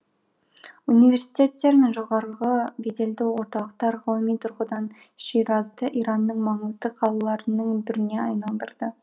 университеттер мен жоғарғы беделді орталықтар ғылыми тұрғыдан ширазды иранның маңызды қалаларының біріне айналдырды